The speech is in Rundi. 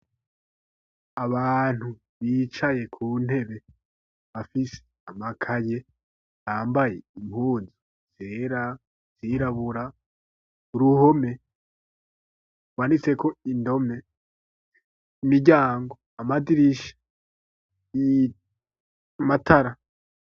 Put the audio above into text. Abantu bicaye ku ntebe bafise amakaye bambaye impunzu zera izirabura uruhome banditseko, indome imiryango, amadirisha, amatara.